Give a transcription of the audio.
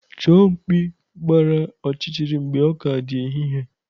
Chọọ mkpi gbara ọchịchịrị mgbe ọ ka dị n'ehihie.